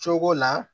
Cogo la